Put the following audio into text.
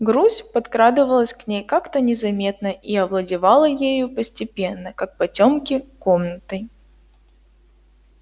грусть подкрадывалась к ней как-то незаметно и овладевала ею постепенно как потёмки комнатой